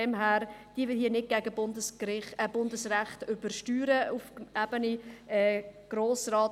Deshalb: Übersteuern wir nicht Bundesrecht auf Ebene Grosser Rat!